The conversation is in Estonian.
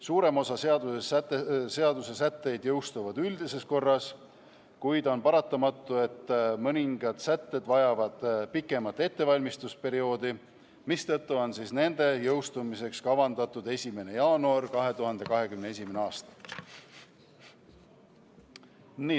Suurem osa seaduse sätteid jõustub üldises korras, kuid on paratamatu, et mõningad sätted vajavad pikemat ettevalmistusperioodi, mistõttu on nende jõustumise ajaks kavandatud 1. jaanuar 2021. aastal.